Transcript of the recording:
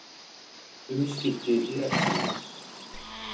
Umskipti í rekstrinum